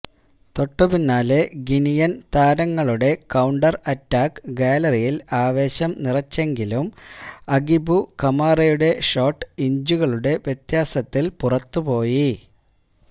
തൊട്ടുപിന്നാലെ ഗിനിയന് താരങ്ങളുടെ counter attack ഗാലറിയില് ആവേശം നിറച്ചെങ്കിലും അഗിബു കമാറയുടെ ഷോട്ട് ഇഞ്ചുകളുടെ വ്യത്യാസത്തില് പുറത്തുപോയി